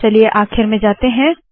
चलिए आखिर में जाते है